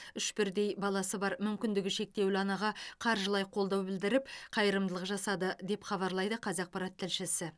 үш бірдей баласы мүмкіндігі шектеулі анаға қаржылай қолдау білдіріп қайырымдылық жасады деп хабарлайды қазақпарат тілшісі